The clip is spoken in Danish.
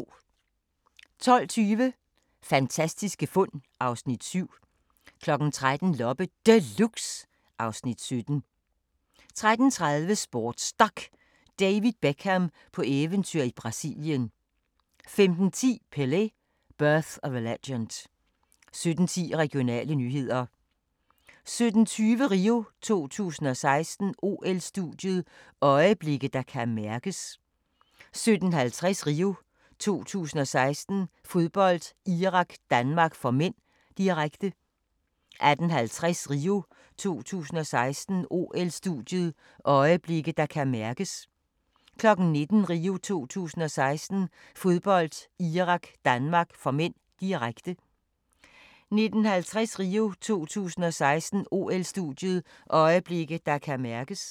12:20: Fantastiske fund (Afs. 7) 13:00: Loppe Deluxe (Afs. 17) 13:30: SportsDok: David Beckham på eventyr i Brasilien 15:10: Pelé: Birth of a Legend 17:10: Regionale nyheder 17:20: RIO 2016: OL-studiet – øjeblikke, der kan mærkes 17:50: RIO 2016: Fodbold, Irak-Danmark (m), direkte 18:50: RIO 2016: OL-studiet – øjeblikke, der kan mærkes 19:00: RIO 2016: Fodbold, Irak-Danmark (m), direkte 19:50: RIO 2016: OL-studiet – øjeblikke, der kan mærkes